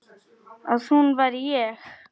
Að hún væri ég.